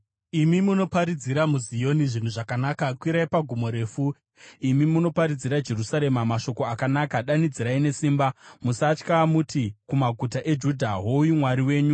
Imi munoparidzira Zioni zvinhu zvakanaka, kwirai pagomo refu. Imi munoparidzira Jerusarema mashoko akanaka, danidzirai nesimba, musatya; muti kumaguta eJudha, “Hoyu Mwari wenyu!”